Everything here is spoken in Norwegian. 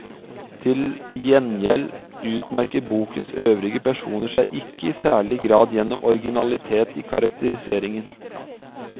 Til gjengjeld utmerker bokens øvrige personer seg ikke i særlig grad gjennom originalitet i karakteriseringen.